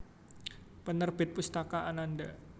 Penerbit Pustaka Ananda